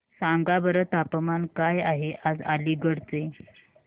सांगा बरं तापमान काय आहे आज अलिगढ चे